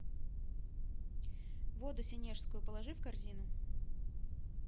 воду сенежскую положи в корзину